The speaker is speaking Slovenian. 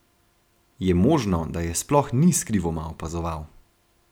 Je možno, da je sploh ni skrivoma opazoval?